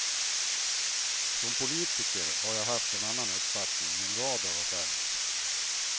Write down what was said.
Som politiker har jag haft en annan uppfattning i en rad av affärerna.